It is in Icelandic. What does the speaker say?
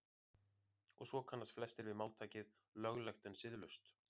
og svo kannast flestir við máltækið „löglegt en siðlaust“